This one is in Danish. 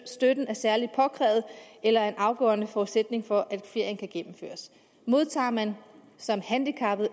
støtten er særlig påkrævet eller en afgørende forudsætning for at ferien kan gennemføres modtager man som handicappet